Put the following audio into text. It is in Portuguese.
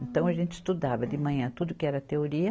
Então a gente estudava de manhã tudo que era teoria,